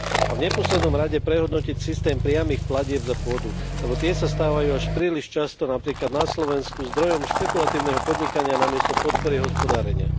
A v neposlednom rade prehodnotiť systém priamych platieb za pôdu, lebo tie sa stávajú až príliš často, napríklad na Slovensku, zdrojom špekulatívneho podnikania namiesto podpory hospodárenia.